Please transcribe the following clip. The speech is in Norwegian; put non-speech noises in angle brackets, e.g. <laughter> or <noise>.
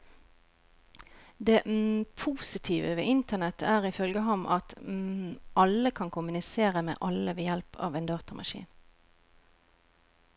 Det <hesitation> positive ved internett er ifølge ham at <hesitation> alle kan kommunisere med alle ved hjelp av en datamaskin.